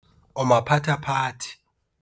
O maphathephathe.